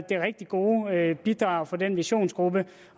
det rigtig gode bidrag fra den visionsgruppe